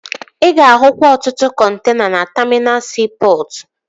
Ị ga-ahụkwa ọtụtụ kọntena na taminal siipọtụ